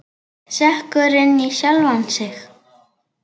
Sekkur inn í sjálfan sig.